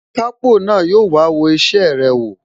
Akápò na yóò wá wo isẹ rẹ wò